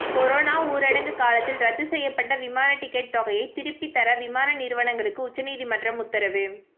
corona ஊரங்கு காலத்தில் ரத்து செய்யப்பட்ட விமான டிக்கெட் தொகையை திருப்பி தர விமான நிறுவனங்களுக்கு உச்சநீதிமன்றம் உத்தரவு